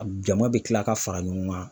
Jama be kila ka fara ɲɔgɔn kan.